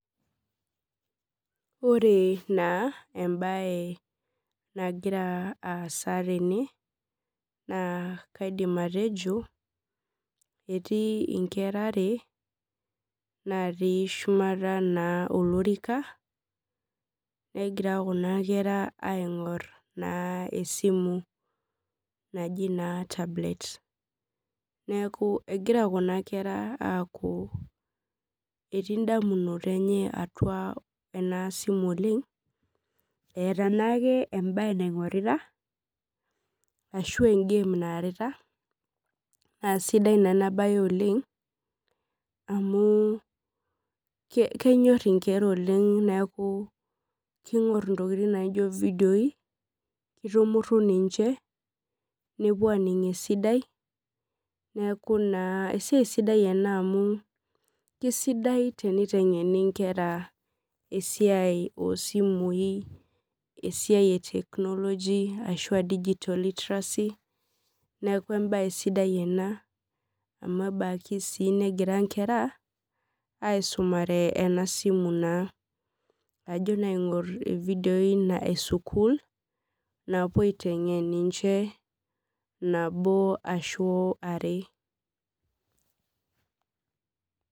Ore na embae nagira aasa tene na kaidim atejo etiinkera are natii shumata olorika negira kunakera aingor na esimu naji tablet neaku egira kuna kera aaku etii ndamunot enye atua enasimu oleng eeta naake embae naingurita ashu engame naingorita na sidai na enabae oleng amu kenyor nkera oleng neaku kingor ntokitin naijo fidioi nitumuru ninche neaku na esiai sidai ena amu kesidai enitengeni nkera esiaia ashu a digital literacy neaku enbae sidai ena amu enaki negira nkera aisumare enasimu naa ajo aingur ifidioi na esukul napuo aitengen ninche nabo ashua are.